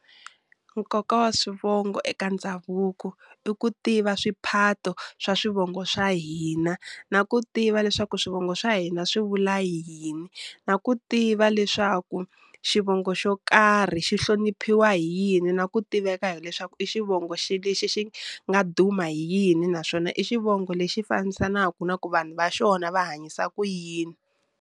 Nkoka wa swivongo eka ndhavuko i ku tiva swiphato swa swivongo swa hina na ku tiva leswaku swivongo swa hina swi vula yini na ku tiva leswaku xivongo xo karhi xi hloniphiwa hi yini na ku tiveka hileswaku i xivongo xi lexi xi nga duma hi yini naswona i xivongo lexi fambisanaku na ku vanhu va xona va hanyisa ku yini.